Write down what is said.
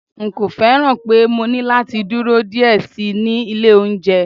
n ko fẹràn pe mo ní lati dúró diẹ sí ní ilé olounje